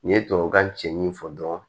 N ye tubabukan cɛ min fɔ dɔrɔn